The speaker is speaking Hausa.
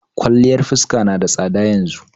Kwaliyar fuskar na da tsada yanzu.